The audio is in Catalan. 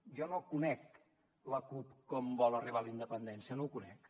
jo no conec la cup com vol arribar a la independència no ho conec